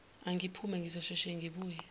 angiphuthume ngizosheshe ngibuye